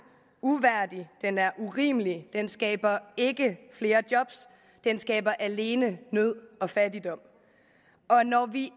uværdig den er urimelig den skaber ikke flere job den skaber alene nød og fattigdom og når vi